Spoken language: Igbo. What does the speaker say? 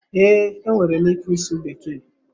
Ee, enwere m ike ịsụ bekee